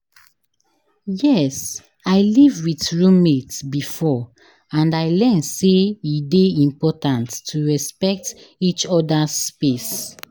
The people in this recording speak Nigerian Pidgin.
Yes, i live with roommate before and i learn say e dey important to respect each other's space.